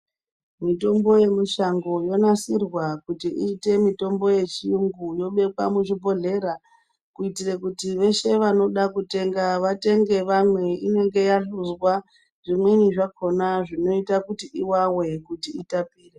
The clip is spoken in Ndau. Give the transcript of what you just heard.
Mitombo ye musango yo nasirwa kuti iite mitombo ye chiyungu ino bekwa mu zvi bhohlera kuitire kuti veshe vanoda kutenga vatenge vamwe inenge ya hluzwa zvimweni zvakona zvinoita kuti iwawe kuti itapire.